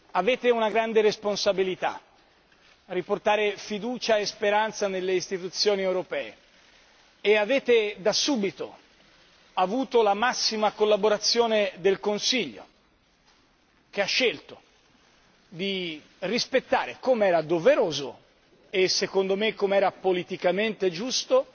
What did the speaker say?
Avete una grande responsabilità riportare fiducia e speranza nelle istituzioni europee e avete, da subito, avuto la massima collaborazione del Consiglio che ha scelto di rispettare, com'era doveroso e secondo me com'era politicamente giusto,